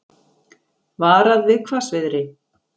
Varað við hvassviðri